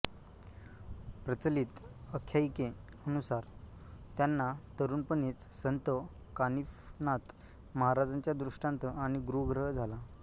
प्रचलित अख्यायिके नुसार त्यांना तरुणपणीच संत कानिफनाथ महाराजांचा दृष्टांत आणि गुरुग्रह झाला